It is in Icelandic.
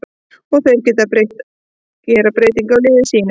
Og þeir gera breytingu á liði sínu.